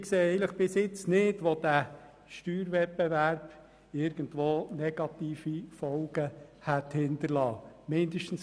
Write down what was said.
Ich sehe nicht, wo der Steuerwettbewerb negative Folgen hinterlassen haben soll.